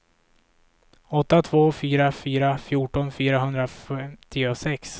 åtta två fyra fyra fjorton fyrahundrafemtiosex